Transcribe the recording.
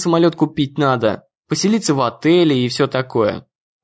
самолёт купить надо поселиться в отеле и все такое